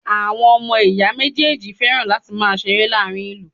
Àwọn ọmọ ìyá méjèèjì fẹ́ràn láti máa ṣeré láàárín ìlú.